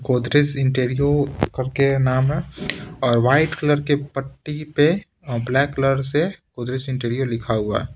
गोदरेज इंटरियो करके नाम है और व्हाइट कलर के पट्टी पे और ब्लैक कलर से गोदरेज इंटरियो लिखा हुआ है।